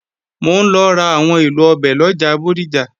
Mò ń lọ ra àwọn èlò ọbẹ̀ lọjà Bódìjà